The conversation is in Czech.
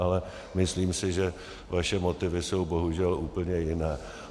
Ale myslím si, že vaše motivy jsou bohužel úplně jiné.